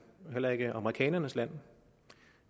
og heller ikke amerikanernes land